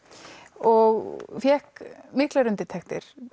og fékk miklar undirtektir